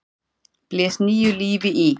blés nýju lífi í.